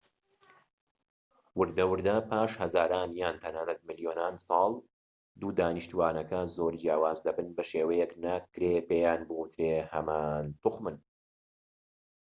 وردە وردە پاش هەزاران یان تەنانەت ملیۆنان ساڵ دوو دانیشتوانەکە زۆر جیاواز دەبن بە شێوەیەك ناکرێت پێیان بووترێت هەمان توخمن